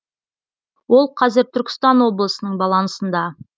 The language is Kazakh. ол қазір түркістан облысының балансында